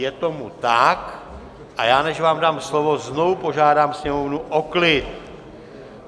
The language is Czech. Je tomu tak, a než vám dám slovo, znovu požádám Sněmovnu o klid.